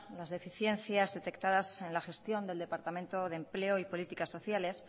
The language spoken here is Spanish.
las deficiencias detectadas en la gestión del departamento de empleo y política sociales